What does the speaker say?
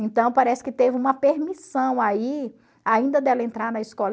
Então, parece que teve uma permissão aí, ainda dela entrar na escola.